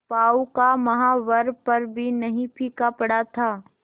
पांव का महावर पर भी नहीं फीका पड़ा था